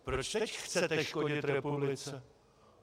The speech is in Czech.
Proč teď chcete škodit republice?